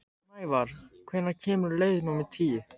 Snævarr, hvenær kemur leið númer tíu?